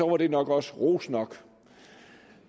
det nok også ros nok